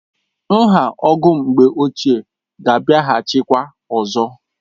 Nha ogo mgbe ochié ga abịahachi kwa ọzọ